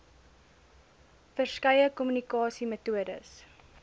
ver skeie kommunikasiemetodes